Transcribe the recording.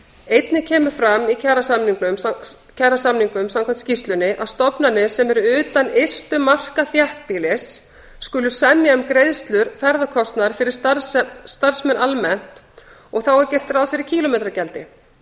einnig kemur fram í kjarasamningum samkvæmt skýrslunni að stofnanir sem eru utan ystu marka þéttbýlis skulu semja um greiðslur ferðakostnaðar fyrir starfsmenn almennt og þá er gert ráð fyrir kílómetragjaldi